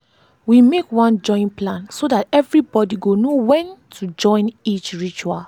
we make one join plan so that every body go know when to join each ritual.